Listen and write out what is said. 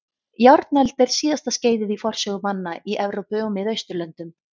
Járnöld er síðasta skeiðið í forsögu manna í Evrópu og Miðausturlöndum.